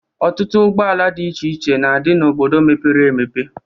Ọtutụ ụgbọala dị iche na-adị n'obodo mepere emepe.